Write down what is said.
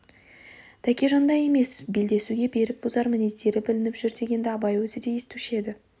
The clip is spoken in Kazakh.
тәкежандай емес белдесуге берік бұзар мінездері білініп жүр дегенді абай өзі де естуші еді